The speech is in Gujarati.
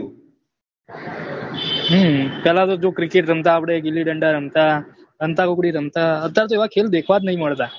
હમ પહલા તો જો cricket રમતા આપડે, ગીલ્લીદંડા રમતા, સંતા કૂકડી રમતા, અતાર તો એવા ખેલ દેખવા જ નહી મળતા